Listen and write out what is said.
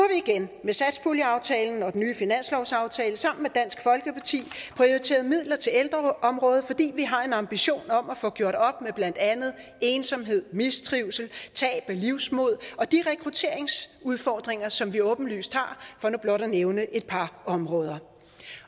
igen med satspuljeaftalen og den nye finanslovsaftale sammen med dansk folkeparti prioriteret midler til ældreområdet fordi vi har en ambition om at få gjort op med blandt andet ensomhed mistrivsel tab af livsmod og de rekrutteringsudfordringer som vi åbenlyst har for nu blot at nævne et par områder